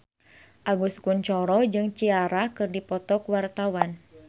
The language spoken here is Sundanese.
Agus Kuncoro jeung Ciara keur dipoto ku wartawan